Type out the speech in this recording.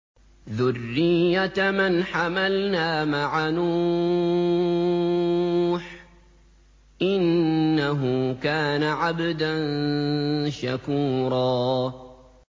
ذُرِّيَّةَ مَنْ حَمَلْنَا مَعَ نُوحٍ ۚ إِنَّهُ كَانَ عَبْدًا شَكُورًا